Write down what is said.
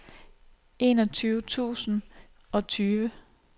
enogtyve tusind og tyve